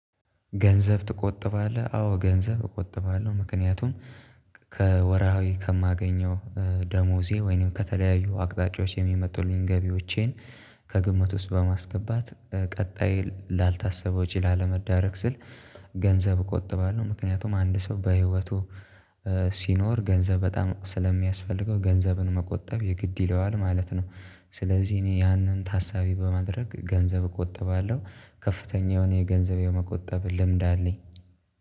ገንዘብ ትቆጥባለህ? አዎ ገንዘብ እቆጥባለሁ ምክንያቱም ከወርሃዊ ከማገኘው ደሞዜ ወይንም ከተለያዩ አቅጣጫዎች የሚመጡልኝን ገቢዎቼን። ከግምት ውስጥ በማስገባት ቀጣይ ላልታሰበው ወጭ ለመዳረግ ስል። ገንዘብ እቆጥባለሁ ምክንያቱም አንድ ሰው በህይወቱ ሲኖር ገንዘብ በጣም ስለሚያስፈልገው ገንዘብን መቆጠብ የግድ ይለዋል ማለት ነው። ስለዚህ እኔ ያንን ታሳቢ በማድረግ ገንዘብ እቆጥባለሁ። ከፍተኛ የሆነ የገንዘብ የመቆጠብ ልምድ አለኝ።